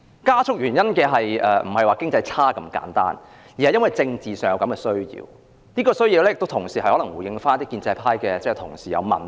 加速並不是經濟差那麼簡單，而是由於政治上的需要，可能是要回應某些建制派同事的批評。